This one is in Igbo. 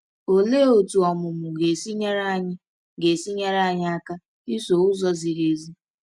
Olee otú ọmụmụ ga-esi nyere anyị ga-esi nyere anyị aka iso ụzọ ziri ezi?